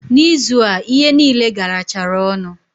Na ịzụ a, ihe niile garachara ọnụ